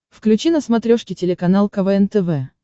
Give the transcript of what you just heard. включи на смотрешке телеканал квн тв